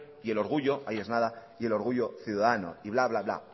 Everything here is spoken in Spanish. y el orgullo ahí es nada y el orgullo ciudadano y bla bla bla